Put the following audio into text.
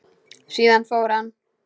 Síðan fór hann.